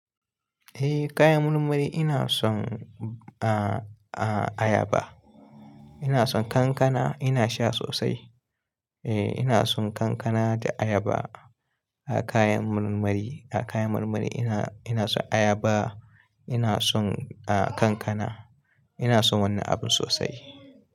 Eh kayan marmari ina son a-a ayaba. Ina son kankana, ina sha sosai. Eh ina son kankana da ayaba a kayan marmari. A kayan marmari ina, ina son ayaba, ina son a kankana. Ina son wannan abun sosai.